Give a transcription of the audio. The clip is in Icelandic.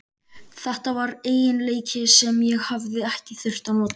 Þetta var eiginleiki sem ég hafði ekki þurft að nota.